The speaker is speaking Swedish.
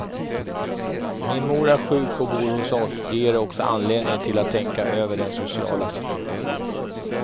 Min mor är sjuk och bor hos oss, det ger också anledning till att tänka över den sociala situationen.